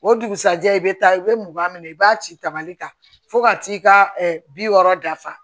O dugusɛjɛ i bɛ taa i bɛ mugan minɛ i b'a ci tamali ta fo ka t'i ka bi wɔɔrɔ dafa